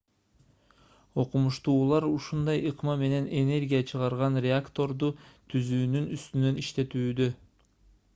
окумуштуулар ушундай ыкма менен энергия чыгарган реакторду түзүүнүн үстүнөн иштешүүдө